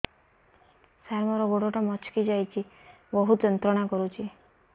ସାର ମୋର ଗୋଡ ଟା ମଛକି ଯାଇଛି ବହୁତ ଯନ୍ତ୍ରଣା କରୁଛି